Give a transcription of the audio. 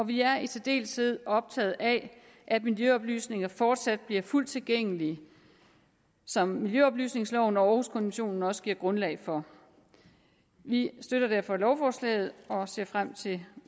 vi er i særdeleshed optaget af at miljøoplysninger fortsat bliver fuldt tilgængelige som miljøoplysningsloven og århuskonventionen også giver grundlag for vi støtter derfor lovforslaget og ser frem til